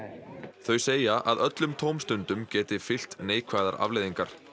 þau segja að öllum tómstundum geti fylgt neikvæðar afleiðingar